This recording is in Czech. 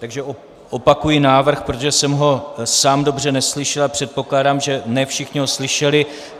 Takže opakuji návrh, protože jsem ho sám dobře neslyšel a předpokládám, že ne všichni ho slyšeli.